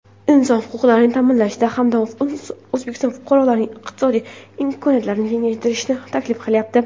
inson huquqlarini ta’minlash hamda O‘zbekiston fuqarolarining iqtisodiy imkoniyatlarini kengaytirishni taklif qilyapti.